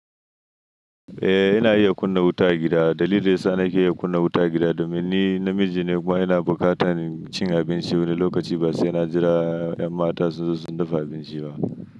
Eh, ina iya kunna wuta a gida. Dalili dai sa na ke iya kunna wuta a gida domin ni namiji ne kuma ina buƙatan cin abinci wani lokaci ba sai na jira ƴan mata sun zo su dafa abinci ba.